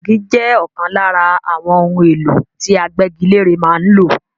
Igi jẹ́ ọ̀kan lára àwọn ohun èlò tí agbégilére máa ń lò.